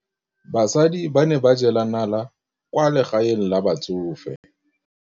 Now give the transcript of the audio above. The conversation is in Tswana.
Basadi ba ne ba jela nala kwaa legaeng la batsofe.